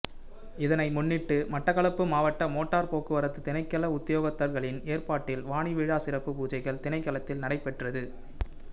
இதனை முன்னிட்டு மட்டக்களப்பு மாவட்ட மோட்டார் போக்குவரத்து திணைக்கள உத்தியோகத்தர்களின் ஏற்பாட்டில் வாணி விழா சிறப்பு பூஜைகள் திணைக்களத்தில் நடைபெற்றது